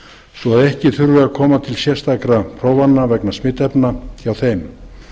svo að ekki þurfi að koma til sérstakra prófana vegna smitefna hjá þeim